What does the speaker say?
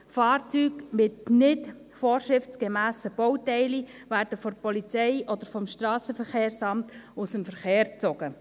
Fahrzeuge mit nicht vorschriftsgemässen Bauteilen werden von der Polizei oder vom Strassenverkehrsamt aus dem Verkehr gezogen.